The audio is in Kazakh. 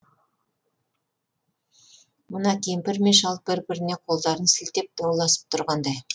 мына кемпір мен шал бір біріне қолдарын сілтеп дауласып тұрғандай